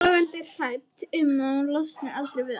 Logandi hrædd um að hún losni aldrei við hann.